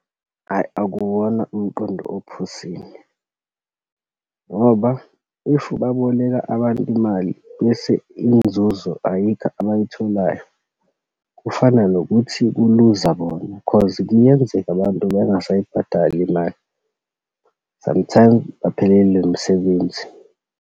Ayi, akuwona umqondo ophusile. Ngoba if baboleka abantu imali bese inzuzo ayikho abayitholayo. Kufana nokuthi kuluza bona cause kuyenzeka abantu bengasayibhadali imali, sometimes baphelelwe imisebenzi.